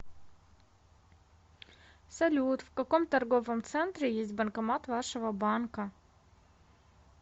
салют в каком торговом центре есть банкомат вашего банка